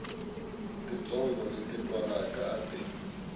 titsongo leti twalaka a ti